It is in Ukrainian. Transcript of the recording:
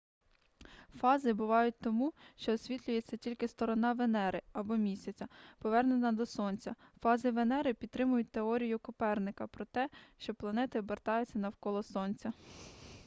фази бувають тому що освітлюється тільки сторона венери або місяця повернена до сонця. фази венери підтримують теорію коперника про те що планети обертаються навколо сонця